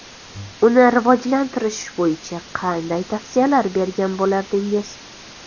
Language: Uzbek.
Uni rivojlantirish bo‘yicha qanday tavsiyalar bergan bo‘lardingiz?